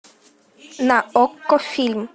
на окко фильм